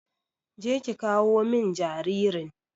Je ki ƙawo min jaririn.